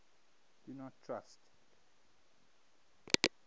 do not trust